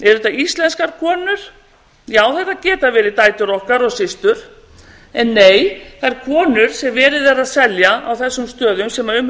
eru þetta íslenskar konur já þetta geta verið dætur okkar og systur en nei þær konur sem verið er að selja á þessum stöðum sem um